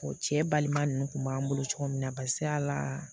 O cɛ balima ninnu kun b'an bolo cogo min na barisa la